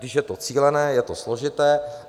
Když je to cílené, je to složité.